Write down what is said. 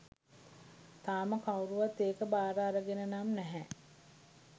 තාම කවුරුවත් ඒක භාර අරගෙන නම් නැහැ.